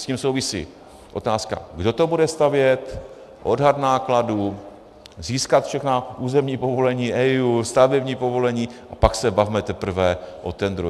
S tím souvisí otázka, kdo to bude stavět, odhad nákladů, získat všechna územní povolení, EIA, stavební povolení, a pak se bavme teprve o tendru.